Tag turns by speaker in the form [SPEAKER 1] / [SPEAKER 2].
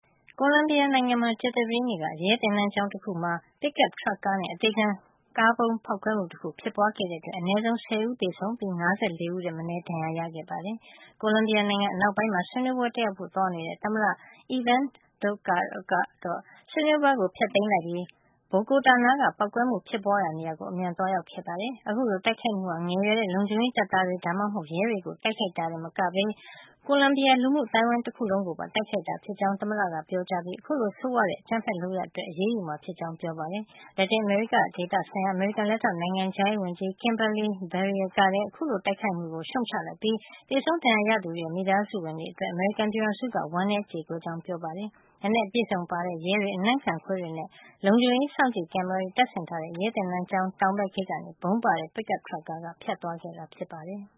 [SPEAKER 1] ကိုလံဘီယာနိုင်ငံမှာ ကြာသပတေးနေ့က ရဲသင်တန်းကျောင်းတခုမှာ ပစ်ကပ်ထရပ်ကားနဲ့ အသေခံကားဗုံးဖေါက်ခွဲမှုတခု ဖြစ်ပွါးခဲ့တဲ့အတွက် အနဲဆုံး ၁၀ ဦးသေဆုံးပြီး ၅၄ ဦးထက်မနည်း ဒဏ်ရာရခဲ့ပါတယ်။ ကိုလံဘီယာနိုင်ငံ အနောက်ပိုင်းမှာ ဆွေးနွေးပွဲတက်ရောက်ဖို့ သွားနေတဲ့ သမ္မတ Ivan Duque ကတော့ဆွေးနွေးပွဲကို ဖျက်သိမ်းလိုက်ပြီး ဘိုဂိုတာနားက ပေါက်ကွဲမှုဖြစ်ပွါးရာနေရာကို အမြန် သွားရောက်ခဲ့ပါတယ်။ အခုလို တိုက်ခိုက်မှုဟာ ငယ်ရွယ်ရဲ့ လုံခြုံရေးတပ်သားတွေ ဒါမှမဟုတ် ရဲတွေကို တိုက်ခိုက်တာတင် မကပဲ ကိုလံဘီယာ လူမှုအသိုင်းအဝိုင်း ကိုပါ တိုက်ခိုက်တာ ဖြစ်ကြောင်း သမ္မတ ကပြောကြားခဲ့ပြီး အခုလို ဆိုးဝါးတဲ့ အကြမ်းဖက်လုပ်ရပ် အတွက် အရေးယူမှာ ဖြစ်ကြောင်း ပြောပါတယ်။ လက်တင်အမေရိက ဒေသဆိုင်ရာ အမေရိကန်လက်ထောက်နိုင်ငံခြားရေးဝန်ကြီး Kimberley Breier ကလည်း အခု တိုက်ခိုက်မှုကို ရှုံ့ချလိုက်ပြီး သေဆုံးဒဏ်ရာရသူတွေရဲ့ မိသားစုဝင်တွေအတွက် အမေရိကန်ပြည်ထောင်စုက ဝမ်းနဲကြေကွဲရပါကြောင်း ပြောကြားခဲ့ပါတယ်။ လက်နက်အပြည့်အစုံပါတဲ့ရဲတွေ၊ အနံ့ခံခွေးတွေနဲ့ လုံခြုံရေးစောင့်ကြည့် ကင်မရာတွေ တပ်ဆင်ထားတဲ့ ရဲသင်တန်းကျောင်း တောင်ဘက် ဂိတ်ကနေ ဗုံးပါတဲ့ ပစ်ကပ် ထရပ်ကားက ဖြတ်သွားခဲ့တာ ဖြစ်ပါတယ်။